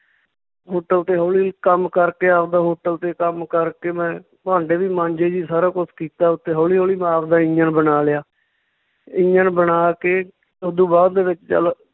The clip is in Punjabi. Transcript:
Hotel ਤੇ ਹੌਲੀ ਕੰਮ ਕਰਕੇ ਆਵਦਾ hotel ਤੇ ਕੰਮ ਕਰਕੇ ਮੈਂ ਭਾਂਡੇ ਵੀ ਮਾਂਜੇ ਜੀ, ਸਾਰਾ ਕੁਛ ਕੀਤਾ ਉੱਥੇ ਹੌਲੀ ਹੌਲੀ ਮੈਂ ਆਵਦਾ ਇੰਜਣ ਬਣਾ ਲਿਆ ਇੰਜਣ ਬਣਾ ਕੇ ਓਦੂ ਬਾਅਦ ਦੇ ਵਿੱਚ ਚੱਲ